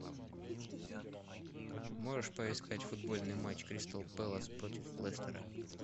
можешь поискать футбольный матч кристал пэлас против лестера